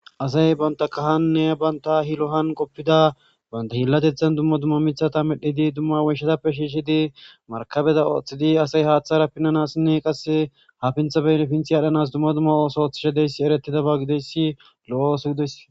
asay banta kahanne banta hilohan qoppida banta hillatethan dumma dumma mithata medhidi dumma weshatappe shiishshidi markabeda ooththidi asay haaththara pinnanassinne qasse hafintha beyne pinthi adhanas dumma dumma ooso ththishadeyssi erettida ba gideyssi lo7o oso gidoys